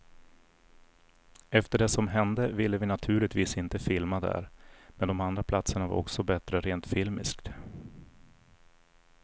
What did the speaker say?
Efter det som hände ville vi naturligtvis inte filma där, men de andra platserna var också bättre rent filmiskt.